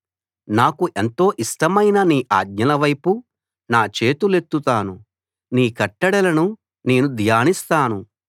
నాకు ఎంతో ఇష్టమైన నీ ఆజ్ఞలవైపు నా చేతులెత్తుతాను నీ కట్టడలను నేను ధ్యానిస్తాను